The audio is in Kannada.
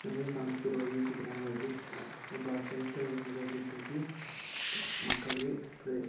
ನಮಗೆ ಕಾಣುತ್ತಿರುವ ಈ ಚಿತ್ರದಲ್ಲಿ ಒಬ್ಬ ಕ್ರೈಸ್ತ ಧರ್ಮದ ಶಿಕ್ಷಕಿ ಮಕ್ಕಳಿಗೆ ಕಲಿಕಾ--